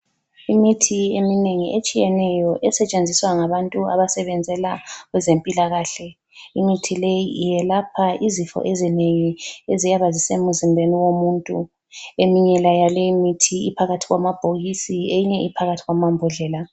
Imithi eminengi etshiyeneyo esentshenziswa ngabantu abasebenzela kwezempilakahle. Imithi leyi iyelapha izifo ezinengi eziyabe zisemzimbeni womuntu. Eminye yaleyo mithi iphakathi kwama bhokisi eyinye iphakathi kwama mbodlela.